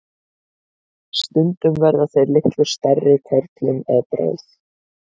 stundum verða þeir litlu stærri körlum að bráð